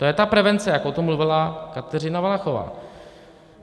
To je ta prevence, jak o tom mluvila Kateřina Valachová.